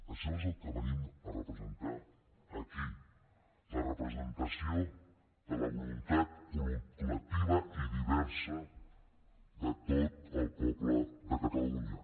això és el que venim a representar aquí la representació de la voluntat col·lectiva i diversa de tot el poble de catalunya